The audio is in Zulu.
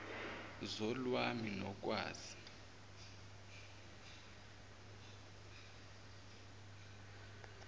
zol wazi nokwazi